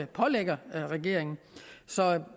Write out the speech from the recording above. pålægger regeringen så